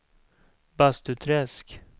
Bastuträsk